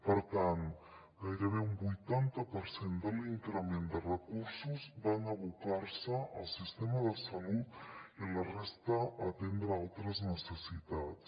per tant gairebé un vuitanta per cent de l’increment de recursos van abocar se al sistema de salut i la resta a atendre altres necessitats